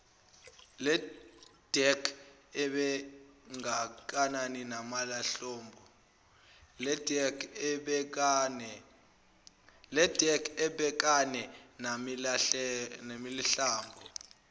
ledec ebhekane nalenhlobo